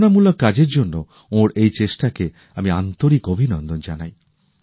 প্রেরনামূলক কাজের জন্য ওঁর এই চেষ্টা কে আমি আন্তরিক অভিনন্দন জানাই